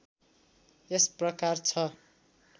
यस प्रकार छ